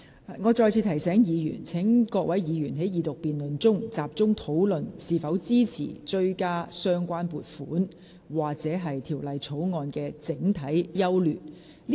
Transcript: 我再次提醒議員，在這項二讀辯論中，議員應集中討論是否支持追加有關撥款或《條例草案》的整體優劣。